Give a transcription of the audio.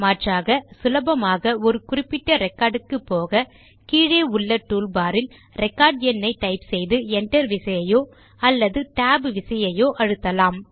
மாற்றாக சுலபமாக ஒரு குறிப்பிட்ட ரெக்கார்ட் க்கு போக கீழே உள்ள டூல்பார் இல் ரெகார்ட் எண்ணை டைப் செய்து enter விசையையோ அல்லது tab விசையையோ அழுத்தலாம்